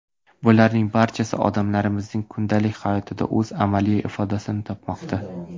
Bularning barchasi odamlarimizning kundalik hayotida o‘z amaliy ifodasini topmoqda.